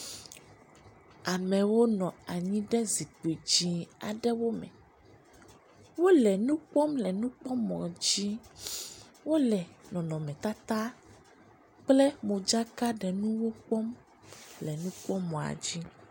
Amewo nɔ anyi ɖe zikpui dzɛ̃ aɖewo me. Wole nu kpɔm le nu kpɔ mɔ dzi, wole nɔnɔmetata kple modzakaɖenuwo kpɔm le nukpɔmɔa dzi.